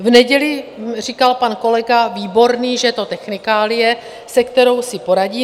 V neděli říkal pan kolega Výborný, že je to technikálie, se kterou si poradí.